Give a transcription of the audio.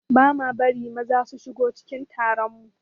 Ba ma bari maza su shigo cikin taron mu